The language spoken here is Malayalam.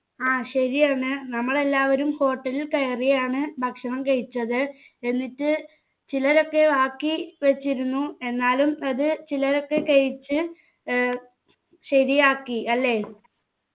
ആ ശരിയാണ് നമ്മൾ എല്ലാവരും hotel ൽ കയറിയാണ് ഭക്ഷണം കഴിച്ചത് എന്നിട്ട് ചിലരൊക്കെ ബാക്കി വെച്ചിരുന്നു എന്നാലും അത് ചിലരൊക്കെ കഴിച്ച് ഏർ ശാരിയാക്കി അല്ലെ